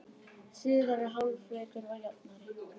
Síðari hálfleikur var jafnari